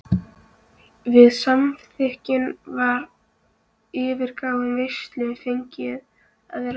Við samþykktum það og yfirgáfum veisluna fegin að vera laus.